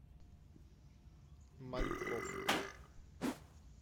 мальков